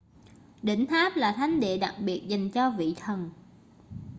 đỉnh tháp là thánh địa đặc biệt dành cho vị thần